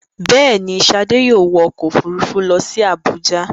Bẹ́ẹ̀ ni, Ṣadé yóò wọ ọkọ̀-òfurufú lọ sí Àbújá.